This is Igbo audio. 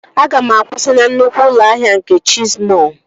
Aga m akwụsị na nnukwu ụlọ ahịa nke Chesi mọọl!